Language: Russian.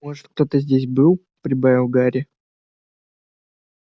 может кто-то здесь был прибавил гарри